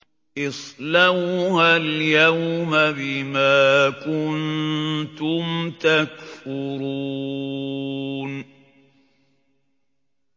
اصْلَوْهَا الْيَوْمَ بِمَا كُنتُمْ تَكْفُرُونَ